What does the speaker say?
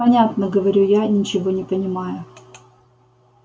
понятно говорю я ничего не понимая